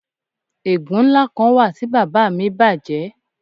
Egun nla kan wa ti baba mi baje